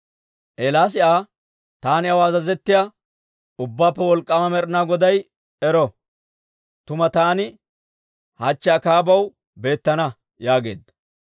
Eelaasi Aa, «Taani aw azazettiyaa, Ubbaappe Wolk'k'aama Med'inaa Goday ero! Tuma taani hachche Akaabaw beettana» yaageedda.